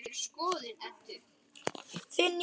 Þinn, Jóhann.